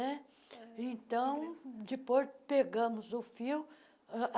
né Então, depois pegamos o fio.